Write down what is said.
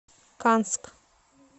канск